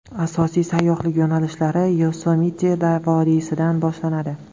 Asosiy sayyohlik yo‘nalishlari Yosemite vodiysidan boshlanadi.